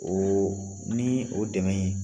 O ni o dɛmɛ in